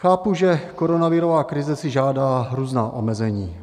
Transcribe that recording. Chápu, že koronavirová krize si žádá různá omezení.